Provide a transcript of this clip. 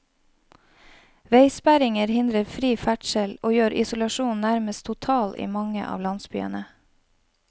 Veisperringer hindrer fri ferdsel, og gjør isolasjonen nærmest total i mange av landsbyene.